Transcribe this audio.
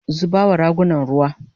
zuba wa ragunan ruwa!